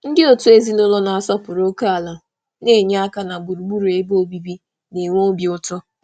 Ndị ezinụlọ na-asọpụrụ ókè na-enye aka n'ịmepụta ọnọdụ ebe obibi ụlọ obi ụtọ.